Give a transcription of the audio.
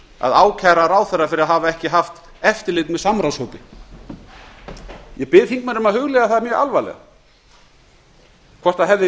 að ákæra ráðherra fyrir að hafa ekki haft eftirlit með samráðshópi ég bið þingmenn um að hugleiða það mjög alvarlega hvort það hefði